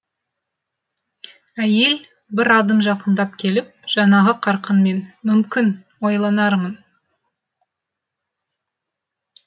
әйел бір адым жақындап келіп жаңағы қарқынмен мүмкін ойланармын